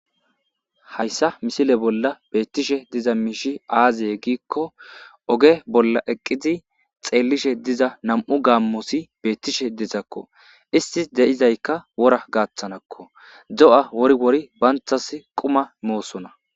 Haysa misile bolla beetishe diza miishy aaze gikon ove bolla eqidi xeelishe diza nam'u gaamoti beetishe dizako,isti de'izayska wora gathananko, do'a wori wori bantasi qumma mosona.